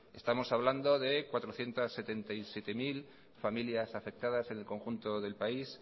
estamos hablando de cuatrocientos setenta y siete mil familias afectadas en el conjunto del país